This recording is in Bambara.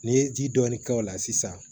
N'i ye ji dɔɔni k'o la sisan